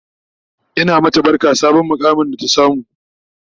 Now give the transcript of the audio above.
Ina mata barka sabon muƙamin da ta samu